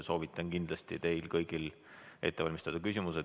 Soovitan kindlasti teil kõigil ette valmistada küsimused.